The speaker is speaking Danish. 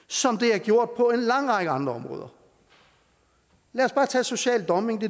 som det har gjort på en lang række andre områder lad os bare tage social dumping